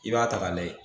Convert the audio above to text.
I b'a ta k'a lajɛ